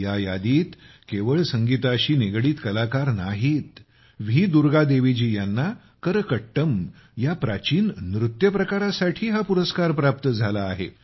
या यादीत केवळ संगीताशी निगडीत कलाकार नाहीत व्ही दुर्गा देवी जी यांना करकट्टम या प्राचीन नृत्य प्रकारासाठी हा पुरस्कार प्राप्त झाला आहे